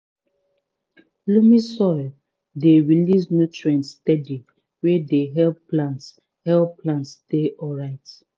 loamy soil dey release nutrients steady wey dey help plants help plants dey alright